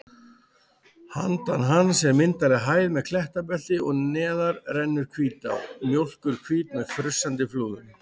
Handan hans er myndarleg hæð með klettabelti og neðar rennur Hvítá, mjólkurhvít með frussandi flúðum.